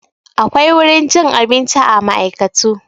Akwai wurin cin abinci a ma'aikatu.